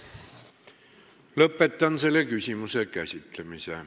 Lõpetan selle küsimuse käsitlemise.